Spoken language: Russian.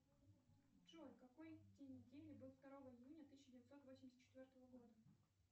джой какой день недели был второго июня тысяча девятьсот восемьдесят четвертого года